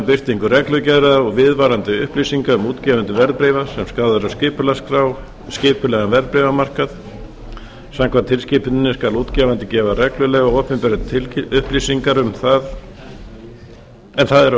birtingu reglulegra og viðvarandi upplýsinga um útgefendur verðbréfa sem skráð eru á skipulegan verðbréfamarkað samkvæmt tilskipuninni skal útgefandi gera reglulega opinberar tilteknar upplýsingar en það eru